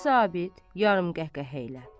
Kiçik zabit yarım qəhqəhə ilə.